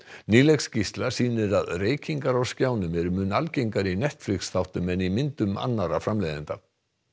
nýleg skýrsla sýnir að reykingar á skjánum eru mun algengari í Netflix þáttum en í myndum annarra framleiðenda